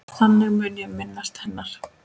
Þannig mun ég minnast hennar.